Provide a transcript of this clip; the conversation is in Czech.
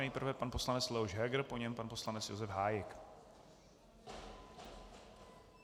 Nejprve pan poslanec Leoš Heger, po něm pan poslanec Josef Hájek.